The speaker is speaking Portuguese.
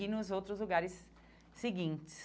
E nos outros lugares seguintes.